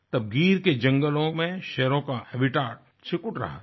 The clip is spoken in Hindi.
तब गीर की जंगलों में शेरों का हैबिटेट सिकुड़ रहा था